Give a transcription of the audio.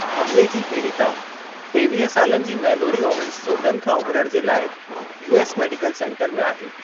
हमले जी पीड़िता टेवीह सालनि जी मैलोरी ओवेन्स चोटनि खां उबिरणु जे लाइ यूएस मेडिकल सेंटर में आहे।